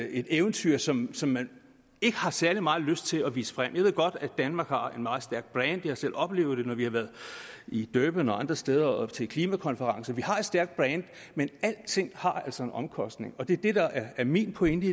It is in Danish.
eventyr som som man ikke har særlig meget lyst til at vise frem jeg ved godt at danmark har et meget stærkt brand jeg har selv oplevet det når vi har været i durban og andre steder til klimakonferencer vi har et stærkt brand men alting har altså en omkostning og det er det der er min pointe